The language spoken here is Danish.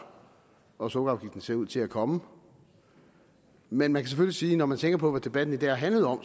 og sukkerafgiften ser ud til at komme men man kan selvfølgelig sige når man tænker på hvad debatten i dag har handlet om